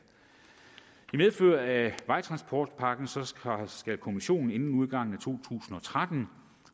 i medfør af vejtransportpakken skal kommissionen inden udgangen af to tusind og tretten